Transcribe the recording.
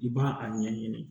I b'a a ɲɛɲini